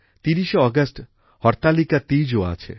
৩০শে August Hartalika Teej ও আছে